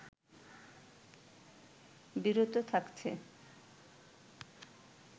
বিরত থাকছে